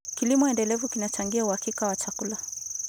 Kilimo endelevu kinachangia uhakika wa chakula.